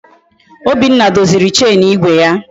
Obinna doziri Chenu igwe ya